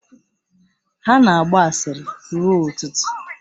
Ha na-agba asịrị ruo ụtụtụ